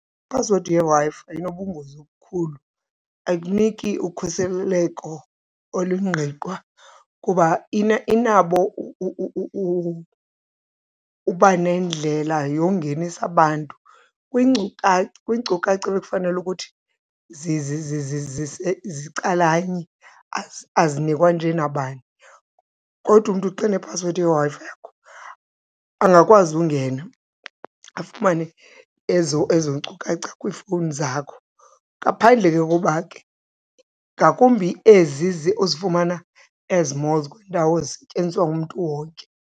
Iphasiwedi yeWi-Fi inobungozi obukhulu, ayikuniki ukhuseleko olungqinqwa kuba inabo uba nendlela yongenisa abantu kwiinkcukacha ebekufanele ukuthi zicalanye, azinikwa nje nabani, kodwa umntu xa enephasiwedi yeWi-Fi yakho angakwazi ungena afumane ezo nkcukacha kwiifowuni zakho. Ngaphandle ke koba ke, ngakumbi ezi uzifumana ezi-malls kwiindawo ezisetyenziswa ngumntu wonke.